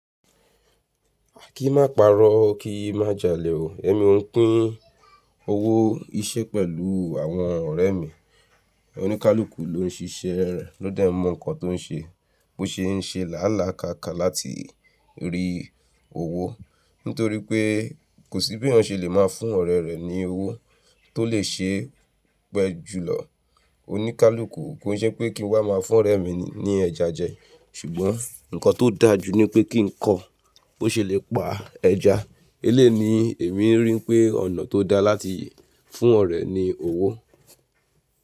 A kì í má parọ́, kí i má jalè o. Èmi ò ń pín owó iṣẹ́ pẹ̀lú àwọn ọ̀rẹ́ mi. Òníkalúkù ló ń ṣe iṣẹ́ rẹ̀, ló dà mọ̀ ǹkan tó ń ṣe, bó ṣe ń ṣe làálàákàlá láti rí owó. Nítorí pé kò sí bí eyaǹ ṣe lè máa fún ọ̀rẹ́ rẹ̀ ní owó tó lè ṣe é pẹ́ jùlọ. Òníkalúkù kò ń ṣe pé kí n wá máa fún ọ̀rẹ́ mi ní ẹja jẹ, ṣùgbọ́n ǹkan tó dáa jù ni pé kí n kọ́ bó ṣe lè pa ẹja. Eléèni èmi rí pé ọ̀nà tó dáa láti fún ọ̀rẹ́ ni owó.